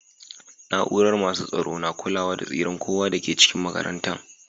Naúrar masu tsaro na kulawa da tsiran kowa da ke cikin makarantan.